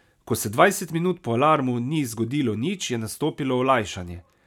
Ko se dvajset minut po alarmu ni zgodilo nič, je nastopilo olajšanje.